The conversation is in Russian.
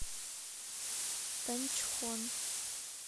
танчхон